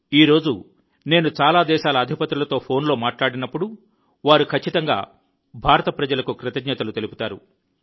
ఈ రోజు నేను చాలా దేశాల అధిపతులతో ఫోన్లో మాట్లాడినప్పుడు వారు ఖచ్చితంగా భారత ప్రజలకు కృతజ్ఞతలు తెలుపుతారు